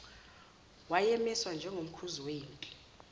wayemiswa njengomkhuzi wempi